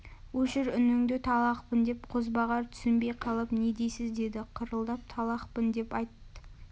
өшір үніңді талақпын де қозбағар түсінбей қалып не дейсіз деді қырылдап талақпын деп айт